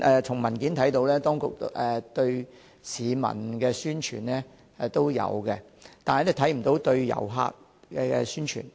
從文件得知，當局有針對市民進行宣傳，但卻沒有針對旅客宣傳。